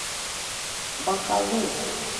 бакалу